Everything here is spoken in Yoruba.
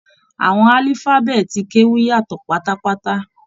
Àwọn alifabeeti Keu yàtọ pátápátá.